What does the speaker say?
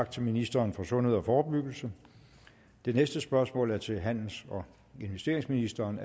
tak til ministeren for sundhed og forebyggelse det næste spørgsmål er til handels og investeringsministeren